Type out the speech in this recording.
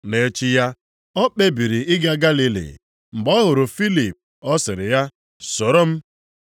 Nʼechi ya, o kpebiri ịga Galili. Mgbe ọ hụrụ Filip, ọ sịrị ya, “Soro m.”